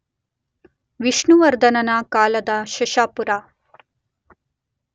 ವಿಷ್ಣುವರ್ಧನನ ಕಾಲದ ಶಶಪುರ